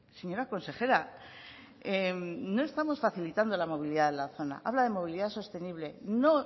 señora consejera no estamos facilitando la movilidad de la zona habla de movilidad sostenible no